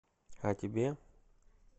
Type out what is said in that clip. о тебе